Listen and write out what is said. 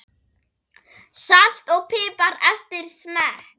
Salt og pipar eftir smekk.